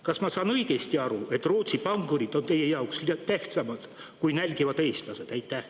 Kas ma saan õigesti aru, et Rootsi pankurid on teie jaoks tähtsamad kui nälgivad eestlased?